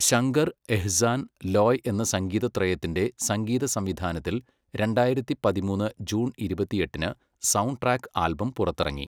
ശങ്കർ, എഹ്സാൻ, ലോയ് എന്ന സംഗീത ത്രയത്തിന്റെ സംഗീത സംവിധാനത്തിൽ രണ്ടായിരത്തി പതിമൂന്ന് ജൂൺ ഇരുപത്തിയെട്ടിന് സൗണ്ട്ട്രാക്ക് ആൽബം പുറത്തിറങ്ങി.